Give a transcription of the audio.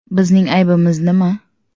Bizning aybimiz nima?